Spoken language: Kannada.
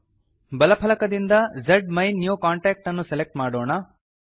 ಬಲ ಫಲಕದಿಂದ ಜ್ಮೈನ್ಯೂಕಾಂಟಾಕ್ಟ್ ಅನ್ನು ಸೆಲೆಕ್ಟ್ ಮಾಡೋಣ